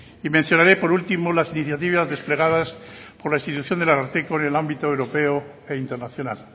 y mencionaré por último las iniciativas desplegadas por la institución del ararteko en el ámbito europeo e internacional